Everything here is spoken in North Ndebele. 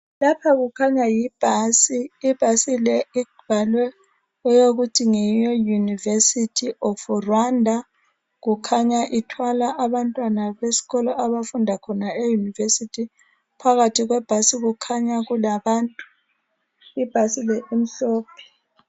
Lapha kukhanya yibhasi. Ibhasi le I bhalwe ngeye university of Rwanda kukhanya ithwala abantwana abesikolo abafunda khona e university phakathi kwebhasi kukhanya kulabantu. Ibhasi le imhlophe